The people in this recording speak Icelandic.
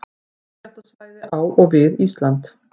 Jarðskjálftasvæði á og við Ísland.